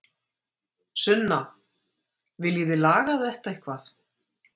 Sunna: En viljið þið laga þetta eitthvað?